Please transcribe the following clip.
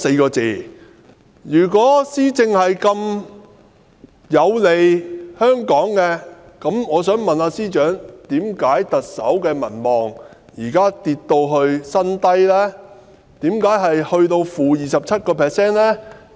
然而，如果施政對香港這麼有利，我想問司長，為甚麼特首的民望如今竟跌至 -27% 的新低呢？